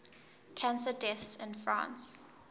cancer deaths in france